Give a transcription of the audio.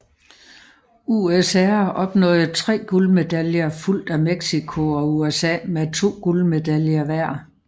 USSR opnåede tre guldmedaljer fulgt af Mexico og USA med to guldmedaljer hver